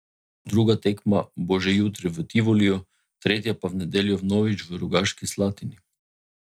Druga tekma bo že jutri v Tivoliju, tretja pa v nedeljo vnovič v Rogaški Slatini.